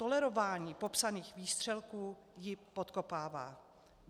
Tolerování popsaných výstřelků ji podkopává.